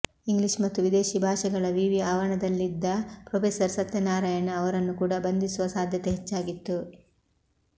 English ಮತ್ತು ವಿದೇಶಿ ಭಾಷೆಗಳ ವಿವಿ ಆವರಣದಲ್ಲಿದ್ದ ಪ್ರೊಫೆಸರ್ ಸತ್ಯನಾರಾಯಣ್ ಅವರನ್ನು ಕೂಡಾ ಬಂಧಿಸುವ ಸಾಧ್ಯತೆ ಹೆಚ್ಚಾಗಿತ್ತು